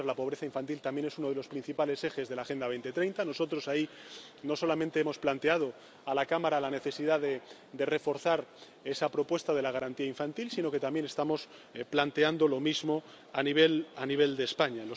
lucha contra la pobreza infantil también es uno de los principales ejes de la Agenda 2030. Nosotros ahí no solamente hemos planteado a la Cámara la necesidad de reforzar esa propuesta de la garantía infantil, sino que también estamos planteando lo mismo a nivel de España.